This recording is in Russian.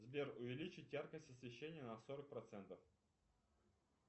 сбер увеличить яркость освещения на сорок процентов